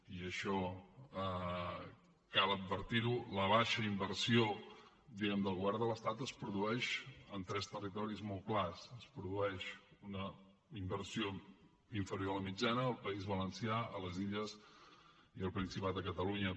i això cal advertir ho la baixa inversió del govern de l’estat es produeix en tres territoris molt clars es produeix una inversió inferior a la mitjana al país valencià a les illes i al principat de catalunya